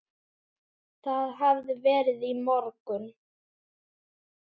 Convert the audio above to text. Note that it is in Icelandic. Það hafði verið í morgun.